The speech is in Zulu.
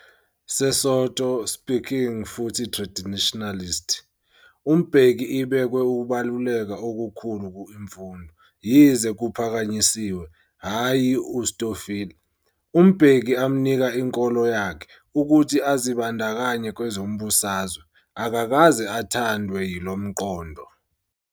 Sesotho -speaking futhi traditionalist, uMbeki ibekwe ukubaluleka okukhulu ku imfundo. Yize kuphakanyisiwe, hhayi uStofile, uMbeki amnika inkolo yakhe, ukuthi azibandakanye kwezombusazwe, akakaze athandwe yilomqondo.